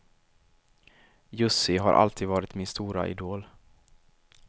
Jussi har alltid varit min stora idol.